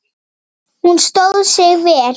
Hún stóð sig vel.